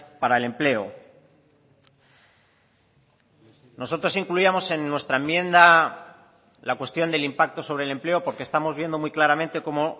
para el empleo nosotros incluíamos en nuestra enmienda la cuestión del impacto sobre el empleo porque estamos viendo muy claramente cómo